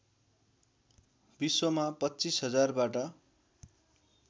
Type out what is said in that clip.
विश्वमा २५००० बाट